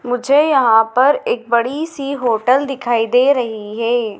मुझे यहां पर एक बड़ी सी होटल दिखाई दे रही है।